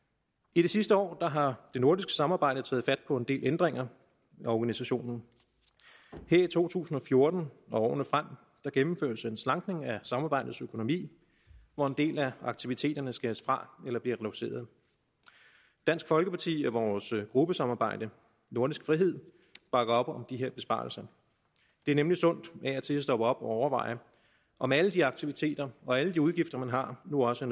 i de sidste år har det nordiske samarbejde taget fat på en del ændringer af organisationen her i to tusind og fjorten og årene frem gennemføres en slankning af samarbejdes økonomi hvor en del af aktiviteterne skæres fra eller bliver reduceret dansk folkeparti og vores gruppesamarbejde nordisk frihed bakker op om de her besparelser det er nemlig sundt af og til at stoppe op og overveje om alle de aktiviteter og alle de udgifter man har nu også